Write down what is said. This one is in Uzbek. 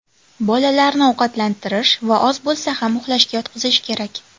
Bolalarni ovqatlantirish va oz bo‘lsa ham uxlashga yotqizish kerak.